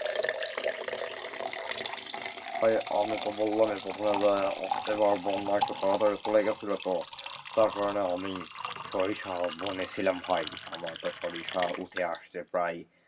ভাই আমি তো বললাম এর প্রথমে, এবার বন্যা একটু তাড়াতাড়ি চলে গেছিল তো তার কারণে আমি সরিষা বনে ছিলাম ভাই আমার তো সরিষা উঠে আসছে প্রায়,